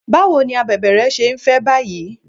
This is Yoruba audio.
Báwo ni abèbè rẹ ṣé ń fẹ́ báyìí?